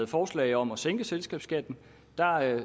forslag om at sænke selskabsskatten